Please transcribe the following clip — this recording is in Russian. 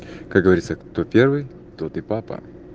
как говорится кто первый тот и папа